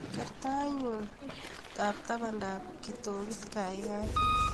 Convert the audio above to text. Ker taitnyu ab tabanab kitokut kaikai